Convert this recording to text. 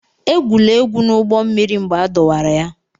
Egwula egwu n'ụgbọ mmiri mgbe a dọwara ya!